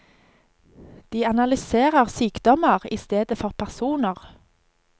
De analyserer sykdommer i stedet for personer.